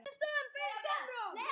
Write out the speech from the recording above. sagði Oddur úti á þekju.